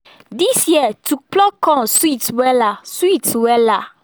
this year to pluck corn sweet wela sweet wela